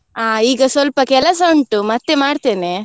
ಈಗ ಸ್ವಲ್ಪ ಕೆಲಸ ಉಂಟು ಮತ್ತೆ ಮಾಡ್ತೇನೆ.